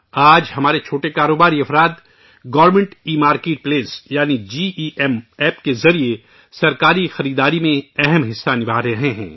آج ہمارے چھوٹے کاروباری افراد گورنمنٹ ایمارکیٹ پلیس یعنی جی ای ایم کے ذریعے سرکاری خریداری میں بڑا تعاون کر رہے ہیں